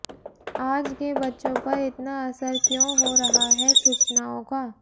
आज के बच्चों पर इतना असर क्यूं हो रहा है सूचनाओं का